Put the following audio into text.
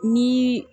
Ni